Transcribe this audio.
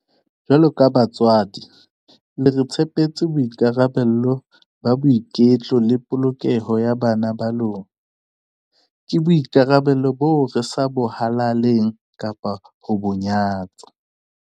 Jwaloka batswadi, le re tshepetse boikarabelo ba boiketlo le polokeho ya bana ba lona. Ke boikarabelo boo re sa bo halaleng kapa ho bo nyatsa.